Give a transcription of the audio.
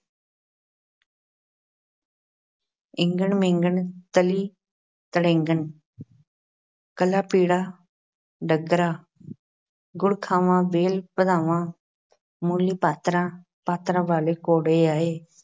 ਈਂਗਣ-ਮੀਂਗਣ ਤਲੀ-ਤਲੀਂਗਣ ਕਾਲਾ ਪੀਲਾ ਡੱਕਰਾ ਗੁੜ ਖਾਵਾਂ ਵੇਲ ਵਧਾਵਾਂ , ਮੂਲੀ ਪੱਤਰਾ, ਪੁੱਤਰਾਂ ਵਾਲੇ ਘੋੜੇ ਆਏ